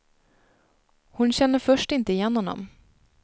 Hon känner först inte igen honom.